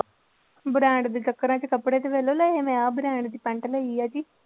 Brand ਦੇ ਚੱਕਰਾਂ ਚ ਕੱਪੜੇ ਆਹ brand ਦੀ ਪੈਂਟ ਲਈ ਆ ਜੀ।